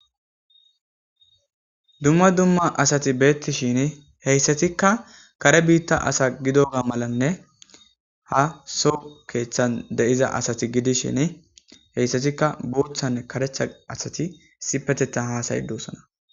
dumma dumma asati beettishin heyssatikka kare biitta asa gidoga malanne ha so keeththan deiza asati gidishin heyssatikka boothanne karecha asati sipetetha hasay dosana